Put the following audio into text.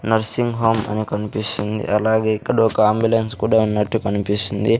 Nursing home అని కనిపిస్తుంది అలాగే ఇక్కడ ఒక అంబులెన్స్ కూడా ఉన్నట్టు కనిపిస్తుంది.